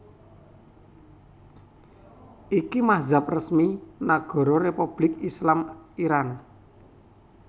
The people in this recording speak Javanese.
Iki mazhab resmi Nagara Republik Islam Iran